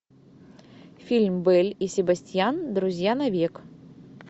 фильм белль и себастьян друзья навек